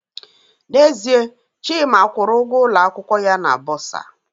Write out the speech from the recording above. N'ezie, Chima kwụrụ ụgwọ ụlọ akwụkwọ ya na bursar